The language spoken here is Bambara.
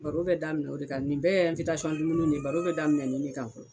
Baro bɛ daminɛ o de kan nin bɛɛ yɛ dumuniw ye baro bɛ daminɛ nin ne kan fɔlɔ.